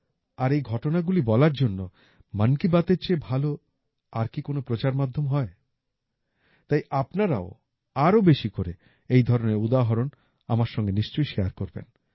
আর এই ঘটনাগুলি বলার জন্য মন কি বাতএর চেয়ে ভালো আর কি কোন প্রচার মাধ্যম হয় তাই আপনারাও আরো বেশি করে এই ধরনের উদাহরণ আমার সঙ্গে নিশ্চয়ই শেয়ার করবেন